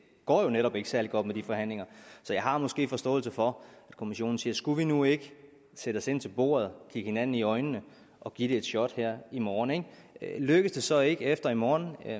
går jo netop ikke særlig godt med de forhandlinger så jeg har måske en forståelse for at kommissionen siger skulle vi nu ikke sætte os ind til bordet kigge hinanden i øjnene og give det et shot her i morgen ikke lykkes det så ikke efter i morgen er